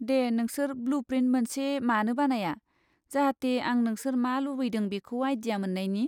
दे, नोंसोर blueprint मोनसे मानो बानाया, जाहाथे आं नोंसोर मा लुबैदों बेखौ आइडिया मोन्नायनि।